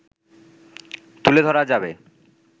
তুলে ধরা যাবে